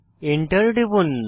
Enter টিপুন